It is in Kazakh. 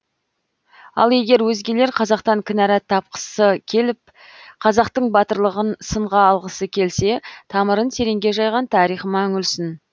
ал егер өзгелер қазақтан кінәрат тапқысы келіп қазақтың батырлығын сынға алғысы келсе тамырын тереңге жайған тарихыма үңілсін